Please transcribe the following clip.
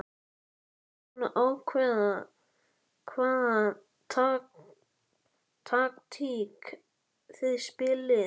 Ertu búinn að ákveða hvaða taktík þið spilið?